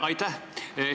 Aitäh!